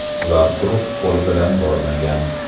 Ular quruq qo‘l bilan bormagan.